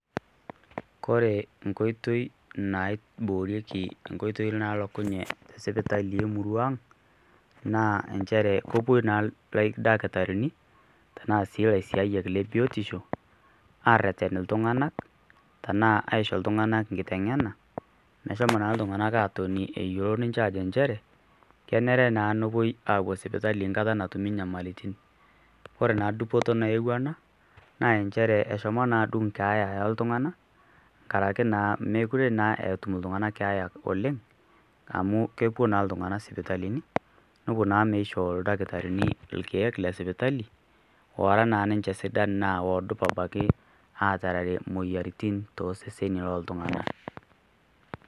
kore nkoitoi naiboorieki inkoitoi nalokunye tesipitali emurua ang naa enchere kopuo naa ildakitarini tenaa sii ilaisiayiak le biotisho arreten iltung'anak tenaa aisho iltung'anak nkiteng'ena meshomo naa iltung'anak atoni eyiolo ninche ajo nchere kenere naa nopuoi apuo sipitali nkata natumi nyamalitin ore naa dupoto nayewua ena naa nchere eshomo naa adung keeya eltung'ana nkarake naa mekure naa etum iltung'ana keeya oleng amu kepuo naa iltung'ana sipitalini nopuo naa meishoo ildakitarini ilkeek lesipitali ora naa ninche sidan naa odup apake atarere moyiaritin toseseni loltung'ana.